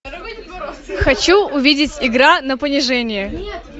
хочу увидеть игра на понижение